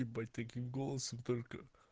ебать таким голосом только